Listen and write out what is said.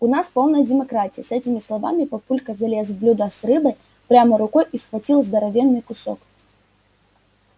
у нас полная демократия с этими словами папулька залез в блюдо с рыбой прямо рукой и схватил здоровенный кусок